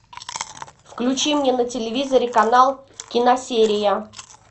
включи мне на телевизоре канал киносерия